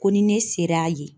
Ko ni ne sera yen.